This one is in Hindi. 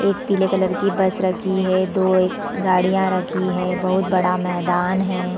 एक पीले कलर की बस रखी हैं दो गाड़ियां रखी है बहोत बड़ा मैदान है।